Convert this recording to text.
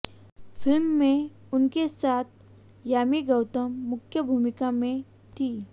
film में उनके साथ यामी गौतम मुख्य भूमिका में थी